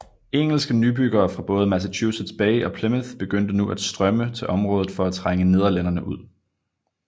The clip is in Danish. Engelske nybyggere fra både Massachusetts Bay og Plymouth begyndte nu at strømme til området for at trænge nederlænderne ud